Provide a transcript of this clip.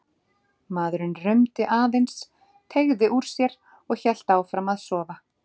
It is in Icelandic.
Maðurinn rumdi aðeins, teygði úr sér og hélt áfram að sofa.